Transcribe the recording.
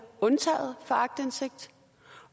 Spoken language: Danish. undtaget for aktindsigt